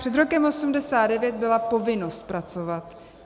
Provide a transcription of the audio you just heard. Před rokem 1989 byla povinnost pracovat.